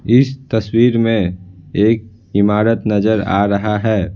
इस तस्वीर में एक इमारत नजर आ रहा है।